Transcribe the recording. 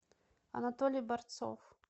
анатолий борцов